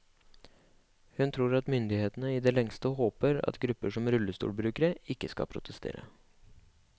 Hun tror at myndighetene i det lengste håper at grupper som rullestolbrukere ikke skal protestere.